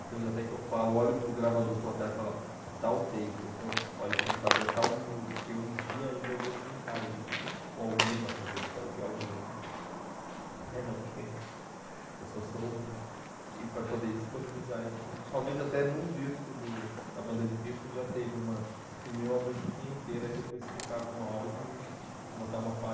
aí temos até que eu falo, olho para o gravador, para o atalho e falo, é tal take, ou então olho para o computador, é tal minuto, porque um dia ainda eu vou sincar isso, ou alguém vai fazer, espero que alguém, é não porque eu só sou um, e para poder disponibilizar isso, talvez até num disco do da banda de Pifron já esteja uma, eu filmei uma musiquinha inteira e depois sincar com áudio e botar uma faixa.